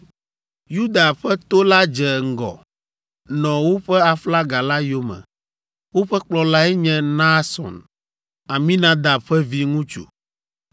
Yuda ƒe to la dze ŋgɔ, nɔ woƒe aflaga la yome. Woƒe kplɔlae nye Nahson, Aminadab ƒe viŋutsu.